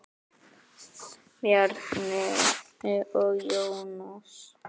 Bjarni og Jónas.